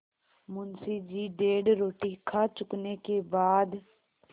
मुंशी जी डेढ़ रोटी खा चुकने के बाद